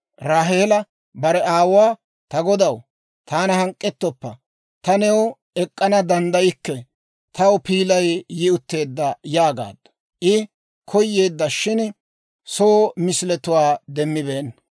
Raaheela bare aawuwaa, «Ta godaw, taana hank'k'etsoppa; taani new ek'k'ana danddaykke; taw piilay yi utteedda» yaagaaddu. I koyeedda; shin soo misiletuwaa demmibeenna.